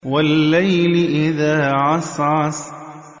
وَاللَّيْلِ إِذَا عَسْعَسَ